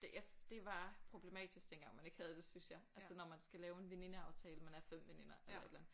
Det det var problematisk dengang man ikke havde det synes jeg altså når man skal lave en venindeaftale man er 5 veninder eller et eller andet